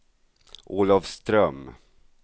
Olafström